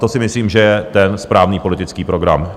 To si myslím, že je ten správný politický program.